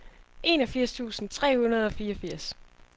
enogfirs tusind tre hundrede og fireogfirs